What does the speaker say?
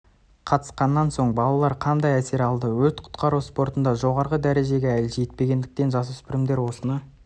қатысқаннан соң балалар қандай әсер алды өрт құтқару спортында жоғары дәрежеге әлі жетпегендіктен жасөспірімдер осыны